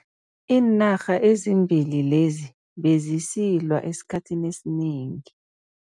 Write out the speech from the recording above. Iinarha ezimbili lezi bezisilwa esikhathini esinengi.